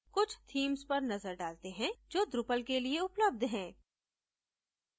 कुछ themes पर नजर डालते हैं जो drupal के लिए उपलब्ध है